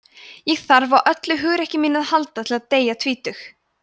ég þarf á öllu hugrekki mínu að halda til að deyja tvítugur